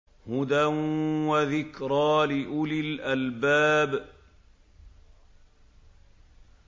هُدًى وَذِكْرَىٰ لِأُولِي الْأَلْبَابِ